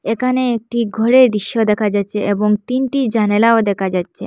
এখানে একটি ঘরের দৃশ্য দেখা যাচ্ছে এবং তিনটি জানালাও দেখা যাচ্ছে।